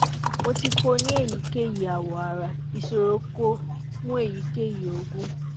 mo ti ko ní èyíkéyìí awọ ara ìsòròko fún èyíkéyìí ogún